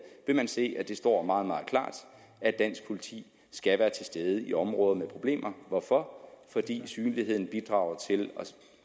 vil man se at det står meget meget klart at dansk politi skal være til stede i områder med problemer hvorfor fordi synligheden bidrager til at